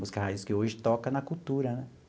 Música raiz que hoje toca na Cultura, né?